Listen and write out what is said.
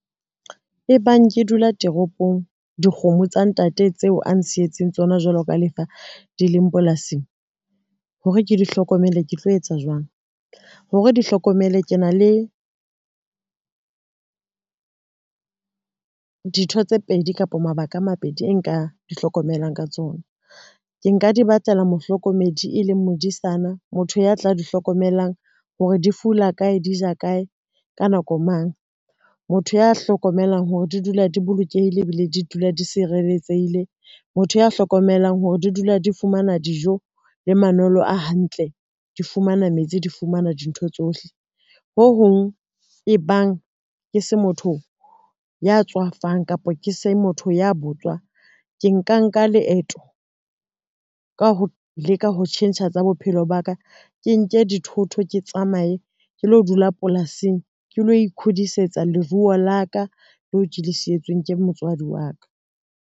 E bang ke dula toropong, dikgomo tsa ntate tseo a nsietseng tsona jwalo ka lefa di leng polasing, hore ke di hlokomele ke tlo etsa jwang? Hore di hlokomele ke na le dintho tse pedi kapa mabaka a mabedi e nka di hlokomelang ka tsona, ke nka di batlela mohlokomedi e leng modisana motho ya tla di hlokomelang hore di fula kae, di ja kae, ka nako mang. Motho ya hlokomelang hore di dula di bolokehile, ebile di dula di sireletsehile motho ya hlokomelang hore di dula di fumana dijo le manolo a hantle, di fumana metsi, di fumana dintho tsohle. Ho hong e bang ke se motho ya tswafang kapa ke se motho ya botswa, ke nka nka leeto ka ho leka ho tjhentjha tsa bophelo ba ka, ke nke dithoto, ke tsamaye ke lo dula polasing, ke lo ikhudisetsa leruo la ka leo Ke le sietswe ke motswadi wa ka.